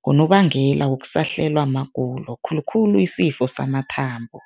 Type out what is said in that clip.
ngonobangela wokusahlelwa magulo, khulukhulu isifo samathambo.